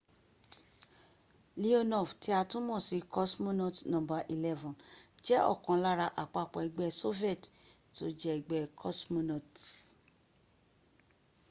leonov tí a tún mọ̀ sí cosmonaut no. 11” jẹ́ ọ̀kan lára àpapọ̀ ẹgbẹ́̀ soviet tí ó jẹ́ ẹgbẹ́ cosmonauts